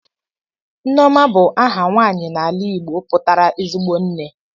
Nneoma bu aha nwanyi n'ala Igbo putara ezigbo nne.